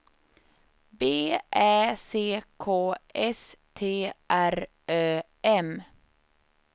B Ä C K S T R Ö M